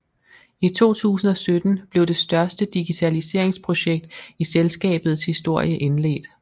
I 2017 blev det største digitaliseringsprojekt i selskabets historie indledt